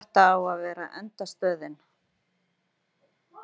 Þetta á að vera endastöðin.